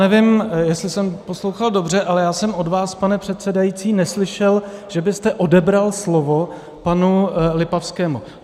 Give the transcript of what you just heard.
Nevím, jestli jsem poslouchal dobře, ale já jsem od vás, pane předsedající, neslyšel, že byste odebral slovo panu Lipavskému.